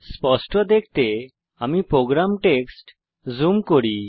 স্পষ্ট দেখতে আমি প্রোগ্রাম টেক্সট জুম করি